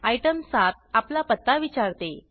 item 7 आपला पत्ता विचारते